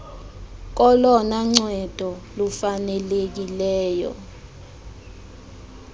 kolona ncedo lufanelekileyo